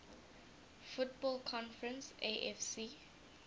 football conference afc